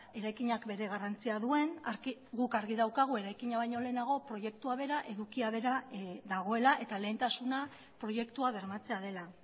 eraikinak bere garrantzia duen guk argi daukagu eraikina baino lehenago proiektua bera edukia bera dagoela eta lehentasuna proiektua bermatzea dela